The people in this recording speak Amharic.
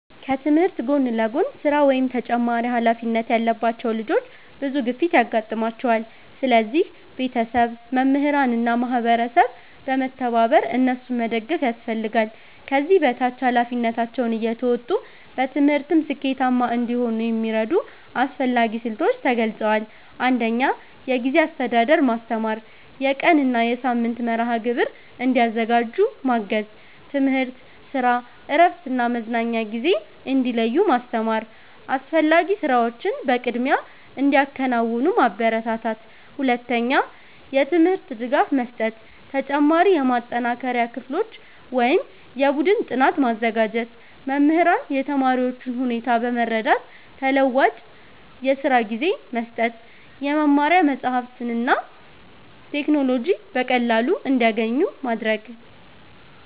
ከትምህርት ጎን ለጎን ስራ ወይም ተጨማሪ ኃላፊነት ያለባቸው ልጆች ብዙ ግፊት ያጋጥማቸዋል። ስለዚህ ቤተሰብ፣ መምህራን እና ማህበረሰብ በመተባበር እነሱን መደገፍ ያስፈልጋል። ከዚህ በታች ኃላፊነታቸውን እየተወጡ በትምህርትም ስኬታማ እንዲሆኑ የሚረዱ አስፈላጊ ስልቶች ተገልጸዋል። 1. የጊዜ አስተዳደር ማስተማር የቀን እና የሳምንት መርሃ ግብር እንዲያዘጋጁ ማገዝ። ትምህርት፣ ስራ፣ እረፍት እና መዝናኛ ጊዜ እንዲለዩ ማስተማር። አስፈላጊ ስራዎችን በቅድሚያ እንዲያከናውኑ ማበረታታት። 2. የትምህርት ድጋፍ መስጠት ተጨማሪ የማጠናከሪያ ክፍሎች ወይም የቡድን ጥናት ማዘጋጀት። መምህራን የተማሪዎቹን ሁኔታ በመረዳት ተለዋዋጭ የስራ ጊዜ መስጠት። የመማሪያ መጻሕፍትና ቴክኖሎጂ በቀላሉ እንዲያገኙ ማድረግ።